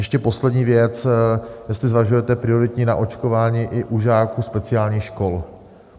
Ještě poslední věc, jestli zvažujete prioritní naočkování i u žáků speciálních škol.